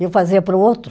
E eu fazia para o outro.